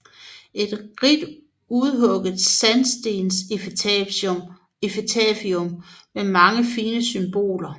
Et rigt udhugget sandstensepitafium med mange fine symboler